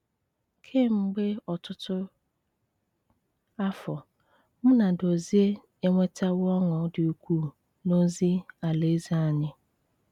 Kemgbe ọtụtụ afọ, mụ na Dozie enwetawo ọṅụ dị ukwuu n’ozi Alaeze anyị.